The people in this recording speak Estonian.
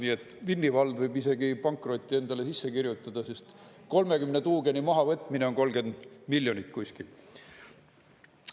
Nii et Vinni vald võib isegi pankroti endale sisse kirjutada, sest 30 tuugeni mahavõtmine on 30 miljonit kuskil.